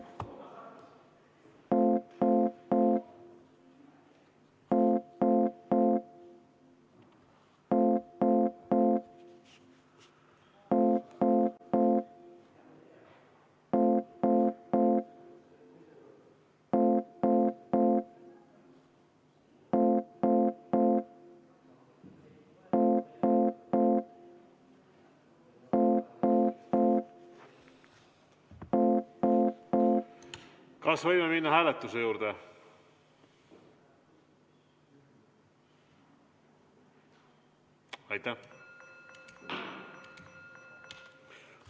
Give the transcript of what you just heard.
Kas võime minna hääletuse juurde?